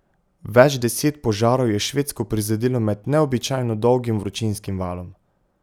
Več deset požarov je Švedsko prizadelo med neobičajno dolgim vročinskim valom.